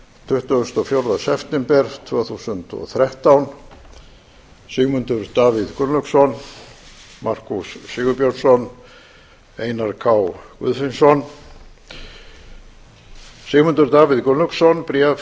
tuttugasta og fjórða september tvö þúsund og þrettán sigmundur davíð gunnlaugsson markús sigurbjörnsson einar k guðfinnsson sigmundur davíð gunnlaugsson bréf